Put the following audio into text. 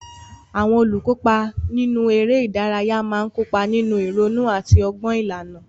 Àwọn olùkópa nínú eré ìdárayá máa ń kópa nínú ìrònú àti ọgbọ́n ìlànà.